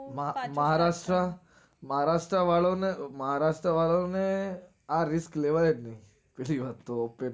માં~ મહારાષ્ટ્ર મહારાષ્ટ્ર વાળાવ ને મહારાષ્ટ્ર વાળાવ ને આ risk લેવાય જ નઈ બીજી વાત તો પછી